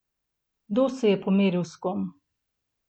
Kdo se je pomeril s kom?